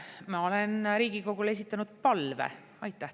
Ma olen Riigikogule esitanud palve.